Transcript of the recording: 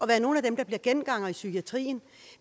være nogle af dem der bliver gengangere i psykiatrien